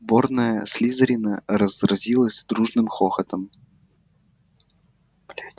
сборная слизерина разразилась дружным хохотом